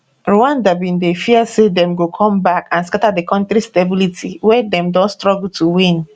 rwanda bin fear say dem go come back and scata di kontri stability wey dem don struggle to win